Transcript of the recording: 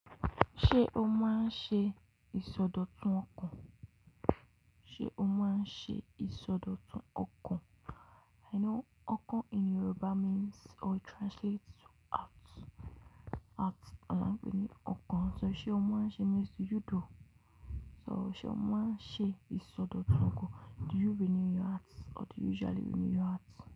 Ṣé o máa ń ṣe ìsọdọ̀tun ọkàn? Ṣé o máa ń ṣe ìsọdọ̀tun ọkàn? I know ọkàn in Yoruba means or it translates to heart. Heart, àwa ń pè ní ọkàn. So ṣe o máa ń ṣe means do you do. So ṣe o máa ń ṣe ìsọdọ̀tun ọkàn? Do you renew your heart or do you usually renew your heart?